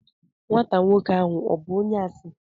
Nwata nwoke ahụ ọ̀ bụ onye asị?